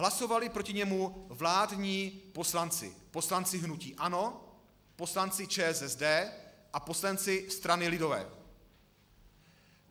Hlasovali proti němu vládní poslanci, poslanci hnutí ANO, poslanci ČSSD a poslanci strany lidové.